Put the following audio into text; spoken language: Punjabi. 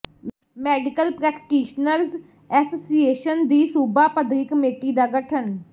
ਮੈਡੀਕਲ ਪ੍ਰੈਕਟੀਸ਼ਨਰਜ਼ ਐਸਸੀਏਸ਼ਨ ਦੀ ਸੂਬਾ ਪੱਧਰੀ ਕਮੇਟੀ ਦਾ ਗਠਨ